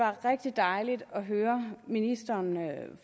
var rigtig dejligt at høre ministeren